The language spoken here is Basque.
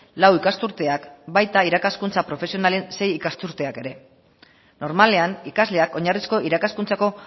lau ikasturteak baita irakaskuntza profesionalen sei ikasturteak ere normalean ikasleak oinarrizko irakaskuntzako